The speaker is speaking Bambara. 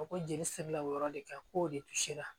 Ko jeli sirila o yɔrɔ de kan k'o de sera